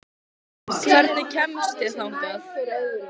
Dagbjartur, hvaða myndir eru í bíó á mánudaginn?